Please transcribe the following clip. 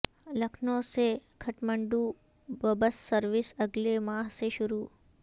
لکھنو سے Kathmandu bus service اگلے ماہ سے شروع